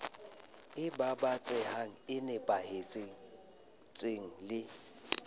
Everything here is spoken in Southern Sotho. e babatsehang e nepahetseng le